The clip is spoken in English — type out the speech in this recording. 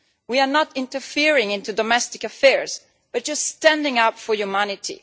We are not interfering in domestic affairs, but standing up for humanity.